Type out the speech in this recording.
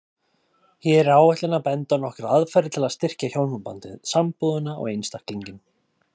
Hér er ætlunin að benda á nokkrar aðferðir til að styrkja hjónabandið, sambúðina og einstaklinginn.